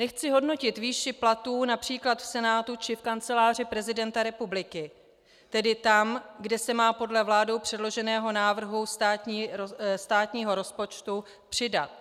Nechci hodnotit výši platů například v Senátu či v Kanceláři prezidenta republiky, tedy tam, kde se má podle vládou předloženého návrhu státního rozpočtu přidat.